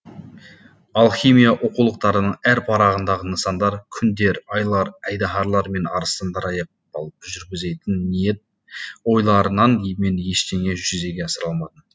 алхимия оқулықтарының әр парағындағы нысандар күндер айлар айдаһарлар мен арыстандар аяқ алып жүргізбейтін ниет ойларынан мен ештеңе жүзеге асыра алмадым